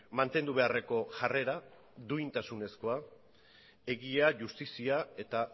mantendu beharreko jarrera duintasunezkoa egia justizia eta